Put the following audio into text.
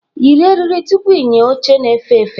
Yiri eriri tupu ịnya oche na-efe efe!